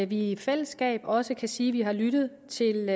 vi i fællesskab også kan sige at vi har lyttet til